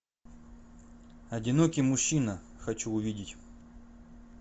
одинокий мужчина хочу увидеть